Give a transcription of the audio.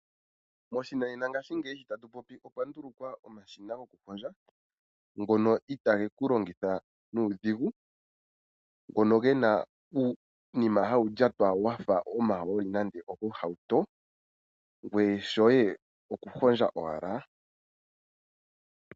Moshinanena ngashingeyi itatu popiko okwa ndulukwa omashina goku hondja ngono itageku longitha nuudhigu ngono gena uunima hawu lyatwa wafa omahooli nando ogohauto ngoye shoye oku hondja owala.